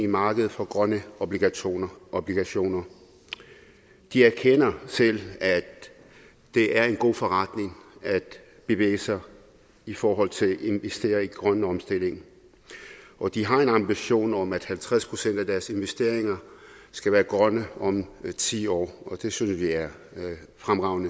markedet for grønne obligationer obligationer de erkender selv at det er en god forretning at bevæge sig i forhold til at investere i grøn omstilling og de har en ambition om at halvtreds procent af deres investeringer skal være grønne om ti år og det synes vi er fremragende